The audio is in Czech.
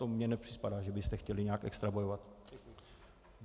To mně nepřipadá, že byste chtěli nějak extra bojovat.